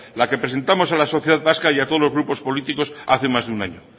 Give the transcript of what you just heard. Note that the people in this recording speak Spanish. la que presentamos a la sociedad vasca y a todos los grupos políticos hace más de un año